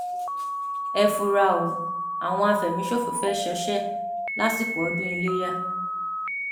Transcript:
ẹ fura o àwọn àfẹmíṣòfò fẹẹ ṣọṣẹ lásìkò ọdún ilẹyà